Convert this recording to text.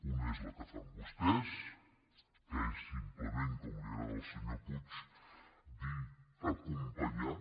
una és la que fan vostès que és simplement com li agrada al senyor puig dir acompanyar